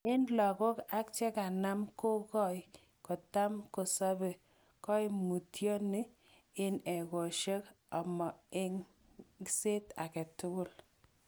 En logok ak cheganam kogong'io, kotam kosobe koimutioni en egosiek omo eng'set agetugul.